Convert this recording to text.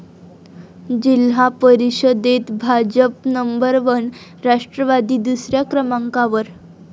जिल्हा परिषदेत भाजपच नंबर वन, राष्ट्रवादी दुसऱ्या क्रमांकावर